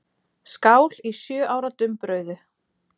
Skál í sjö ára dumbrauðu.